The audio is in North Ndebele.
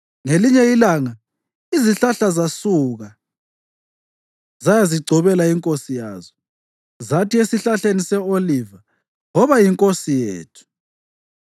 Ngelinye ilanga izihlahla zasuka zayazigcobela inkosi yazo. Zathi esihlahleni se-oliva, ‘Woba yinkosi yethu.’